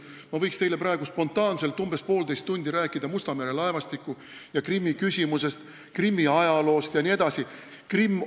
Ma võiks teile praegu spontaanselt umbes poolteist tundi rääkida Musta mere laevastiku ja Krimmi küsimusest, Krimmi ajaloost jne, aga kahjuks ei ole see võimalik.